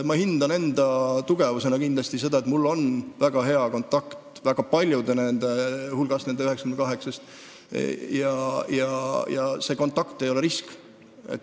Ma hindan enda tugevusena kindlasti seda, et mul on väga hea kontakt väga paljudega nende 98 hulgast, ja see kontakt ei ole risk.